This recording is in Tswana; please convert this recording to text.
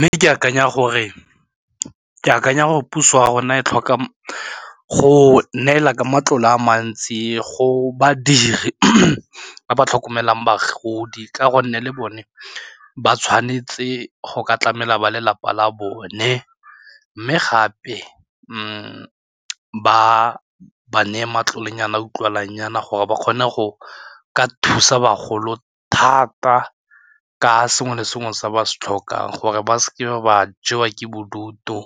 Mme ke akanya gore puso ya rona e tlhoka go neela ka matlole a mantsi go badiri ba ba tlhokomelang bagodi ka gonne le bone ba tshwanetse go ka tlamela ba lelapa la bone mme gape ba ba neye matlolenyana a utlwalangnyana gore ba kgone go ka thusa bagolo thata ka le sengwe se ba se tlhokang gore ba seke ba jewa ke bodutu,